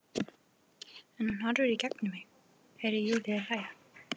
En hún horfir í gegnum mig- Heyri Júlíu hlæja.